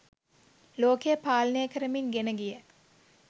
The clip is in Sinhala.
ලෝකය පාලනය කරමින් ගෙන ගිය